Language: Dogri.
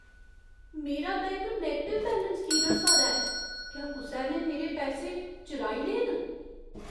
मेरा बैंक नैगटिव बैलेंस की दस्सा दा ऐ? क्या कुसै ने मेरे पैसे चुराई ले न?